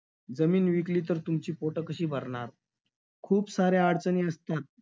जमीन विकली तर तुमची पोटं कशी भरणार? खूप साऱ्या अडचणी असतात.